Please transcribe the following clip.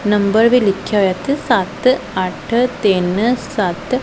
Number ਵੀ ਲਿੱਖਿਆ ਹੋਇਆ ਇੱਥੇ ਸੱਤ ਅੱਠ ਤਿੰਨ ਸੱਤ।